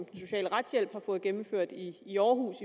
den sociale retshjælp har fået gennemført i i aarhus